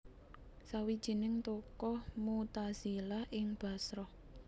Sawijining tokoh Mu tazilah ing Bashrah